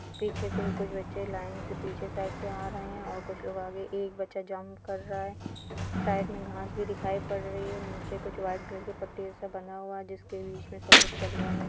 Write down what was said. पीछे कु-कुछ बच्चे लाइन से पीछे साइड से आ रहे हैं और कुछ लोग आगे एक बच्चा जम्प कर रहा है। साइड में घास भी दिखाई पड़ रही है नीचे कुछ वाइट कलर की पट्टी जैसा बना हुआ है जिसके बीच में सब लोग चल रहे हैं।